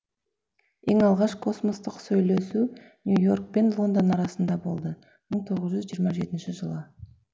ең алғаш космостық сөйлесу нью йорк пен лондон арасында болды мың тоғыз жүз жиырма жетінші жылы